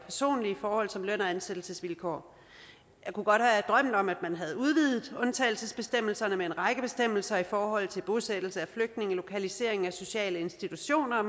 og personlige som løn og ansættelsesvilkår jeg kunne godt have drømt om at man havde udvidet undtagelsesbestemmelserne med en række bestemmelser i forhold til bosættelse af flygtninge lokalisering af sociale institutioner